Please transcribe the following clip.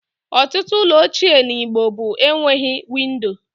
Ọtụtụ ụlọ ochie na igbo bụ enweghị windo